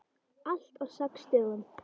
Allt á sex dögum.